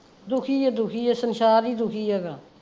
ਦੁਖੀ ਆ ਦੁਖੀ ਆ, ਸੰਸਾਰ ਹੀ ਦੁਖੀ ਹੈਗਾ।